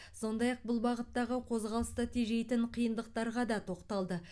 сондай ақ бұл бағыттағы қозғалысты тежейтін қиындықтарға да тоқталды